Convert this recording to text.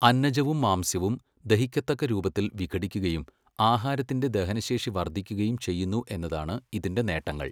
അന്നജവും മാംസ്യവും ദഹിക്കത്തക്ക രൂപത്തിൽ വിഘടിക്കുകയും ആഹാരത്തിന്റെ ദഹനശേഷി വർദ്ധിക്കുകയും ചെയ്യുന്നു എന്നതാണ് ഇതിന്റെ നേട്ടങ്ങൾ .